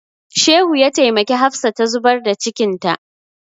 Shehu ya taimaki Hafsa ta zubar da cikinta.